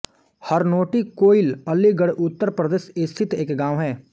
हरनोटी कोइल अलीगढ़ उत्तर प्रदेश स्थित एक गाँव है